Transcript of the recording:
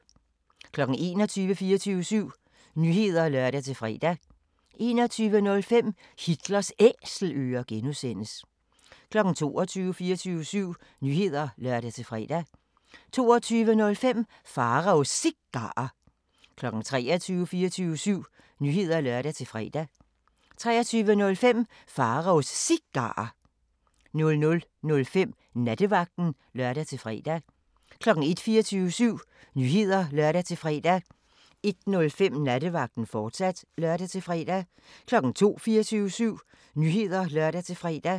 21:00: 24syv Nyheder (lør-fre) 21:05: Hitlers Æselører (G) 22:00: 24syv Nyheder (lør-fre) 22:05: Pharaos Cigarer 23:00: 24syv Nyheder (lør-fre) 23:05: Pharaos Cigarer 00:05: Nattevagten (lør-fre) 01:00: 24syv Nyheder (lør-fre) 01:05: Nattevagten, fortsat (lør-fre) 02:00: 24syv Nyheder (lør-fre)